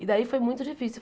E daí foi muito difícil.